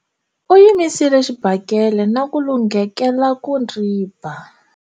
U yimisile xibakele na ku lunghekela ku ndzi ba.